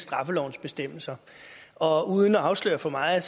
straffelovens bestemmelser og uden at afsløre for meget